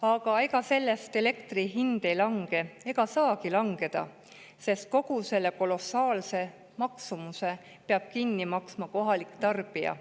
Aga ega sellest elektri hind ei lange ega saagi langeda, sest kogu selle kolossaalse maksumuse peab kinni maksma kohalik tarbija.